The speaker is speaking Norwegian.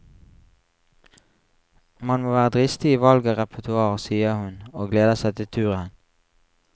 Man må være dristig i valget av repertoar, sier hun, og gleder seg til turen.